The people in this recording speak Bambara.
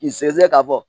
K'i sɛgɛsɛ k'a fɔ